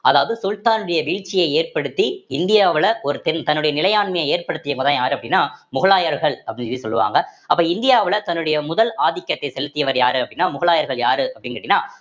அதாவது சுல்தான் உடைய வீழ்ச்சியை ஏற்படுத்தி இந்தியாவுல ஒருத்தன் தன்னுடைய நிலையாண்மையை ஏற்படுத்தியவங்கதான் யாரு அப்படின்னா முகலாயர்கள் அப்படின்னு சொல்லி சொல்லுவாங்க அப்ப இந்தியாவுல தன்னுடைய முதல் ஆதிக்கத்தை செலுத்தியவர் யாரு அப்படின்னா முகலாயர்கள் யாரு அப்படின்னு கேட்டீங்கன்னா